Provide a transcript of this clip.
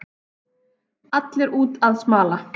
Allir úti að smala